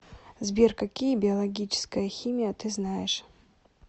сбер какие биологическая химия ты знаешь